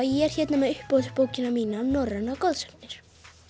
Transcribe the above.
ég er hérna með uppáhalds bókina mína norrænar goðsagnir